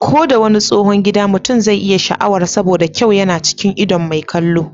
Ko da wani tsohon gida mutum zai iya sha'awar saboda kyau yana cikin idon mai kallo.